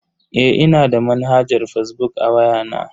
Eh, ina da manhajar fazbuk a waya na.